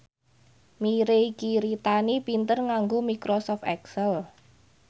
Mirei Kiritani pinter nganggo microsoft excel